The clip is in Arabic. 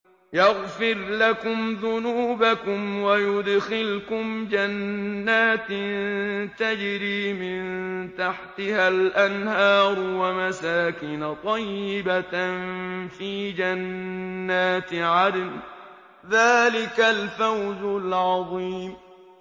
يَغْفِرْ لَكُمْ ذُنُوبَكُمْ وَيُدْخِلْكُمْ جَنَّاتٍ تَجْرِي مِن تَحْتِهَا الْأَنْهَارُ وَمَسَاكِنَ طَيِّبَةً فِي جَنَّاتِ عَدْنٍ ۚ ذَٰلِكَ الْفَوْزُ الْعَظِيمُ